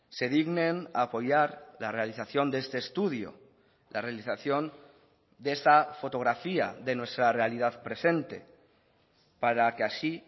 se dignen a apoyar la realización de este estudio la realización de esta fotografía de nuestra realidad presente para que así